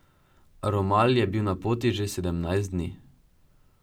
Romal je bil na poti že sedemnajst dni.